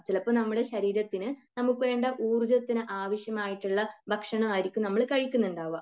ചിലപ്പോ നമ്മുടെ ശരീരത്തിന് നമുക്ക് വേണ്ട ഊർജ്ജത്തിന് ആവശ്യമായിട്ടുള്ള ഭക്ഷണം ആയിരിക്കും നമ്മൾ കഴിക്കുന്നുണ്ടാവുക.